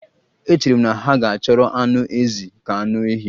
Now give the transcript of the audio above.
Echere m na ha ga-ahọrọ anụ ezi ka anụ ehi